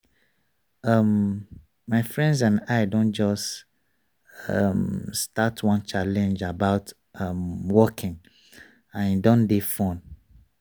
um my friends and i don just um start one challenge about um walking and e don dey fun.